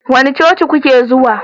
Wani coci kuke zuwa?